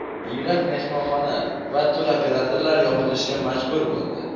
Minglab mehmonxona va turoperatorlar yopilishga majbur bo‘ldi.